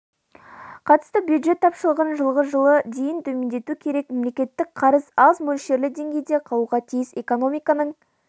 қатысты бюджет тапшылығын жылғы жылы дейін төмендету керек мемлекеттік қарыз аз мөлшерлі деңгейде қалуға тиіс экономиканың